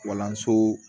Kalanso